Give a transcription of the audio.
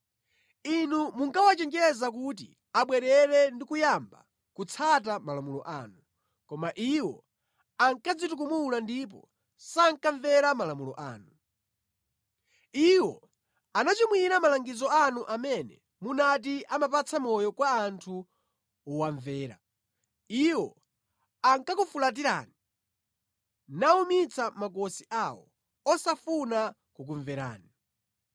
“Inu munkawachenjeza kuti abwerere ndi kuyamba kutsata malamulo anu. Koma iwo ankadzitukumula ndipo sankamvera malamulo anu. Iwo anachimwira malangizo anu amene munati ‘Amapatsa moyo kwa munthu wowamvera.’ Iwo ankakufulatirani, nawumitsa makosi awo osafuna kukumverani.